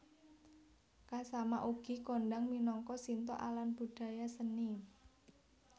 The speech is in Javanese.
Kasama ugi kondhang minangka Shinto alan budaya seni